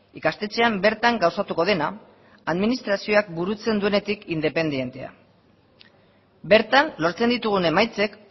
ikastetxean bertan gauzatuko dena administrazioak burutzen duenetik independentea bertan lortzen ditugun emaitzek